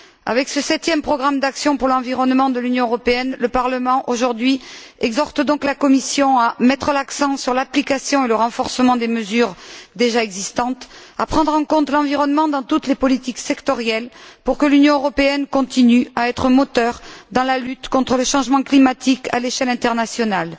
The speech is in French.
Avec ce septième programme d'action pour l'environnement de l'Union européenne, le Parlement, aujourd'hui, exhorte donc la Commission à mettre l'accent sur l'application et le renforcement des mesures déjà existantes, à prendre en compte l'environnement dans toutes les politiques sectorielles pour que l'Union européenne continue à être un moteur dans la lutte contre le changement climatique à l'échelle internationale.